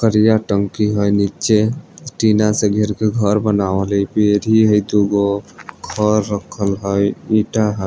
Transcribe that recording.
करिया टंकी हेय नीचे टीना से घेर के घर बनावल हेय हेय दु गो खर रखल हेय ईटा हेय।